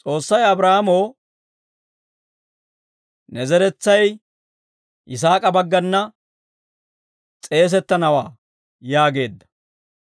S'oossay Abraahaamoo, «Ne zeretsay Yisaak'a baggana s'eesettanawaa» yaageedda.